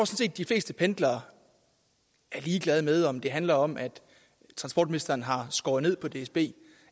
set de fleste pendlere er ligeglade med om det handler om at transportministeren har skåret ned på dsb